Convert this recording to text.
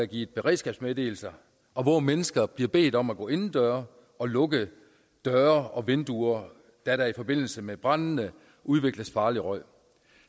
givet beredskabsmeddelelser og hvor mennesker bliver bedt om at gå inden døre og lukke døre og vinduer da der i forbindelse med branden udvikles farlig røg